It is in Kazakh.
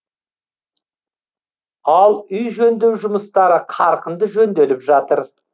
ал үй жөндеу жұмыстары қарқынды жөнделіп жатыр